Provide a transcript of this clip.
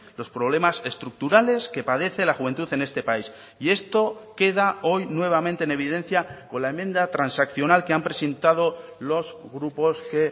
los problemas estructurales que padece la juventud en este país y esto queda hoy nuevamente en evidencia con la enmienda transaccional que han presentado los grupos que